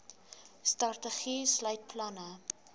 strategie sluit planne